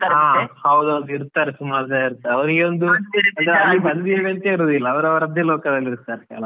ಹಾ, ಹೌದ್ ಹೌದು ಇರ್ತಾರೆ ಸುಮಾರ್ ಜನ ಇರ್ತಾರೆ ಅವ್ರಿಗೆ ಒಂದು ಅವ್ರ್ ಅವ್ರದ್ದೇ ಲೋಕದಲ್ಲಿ ಇರ್ತಾರೆ ಕೆಲವ್.